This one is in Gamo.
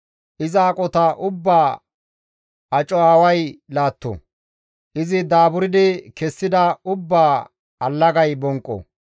Iza aqota ubbaa aco aaway laatto; izi daaburdi kessida ubbaa allagay bonqqo!